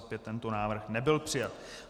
Tento návrh nebyl přijat.